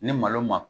Ni malo ma